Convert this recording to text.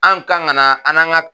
An kan ka na an' ka